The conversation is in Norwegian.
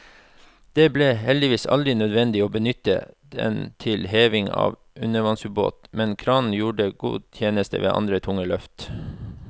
Det ble heldigvis aldri nødvendig å benytte den til heving av undervannsbåt, men kranen gjorde god tjeneste ved andre tunge løft.